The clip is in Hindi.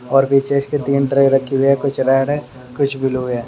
और पीछे इसके तीन ट्रक रखी हुई है कुछ रेड है कुछ ब्लू है।